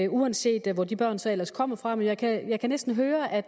uanset hvor de børn så ellers kommer fra jeg kan næsten høre at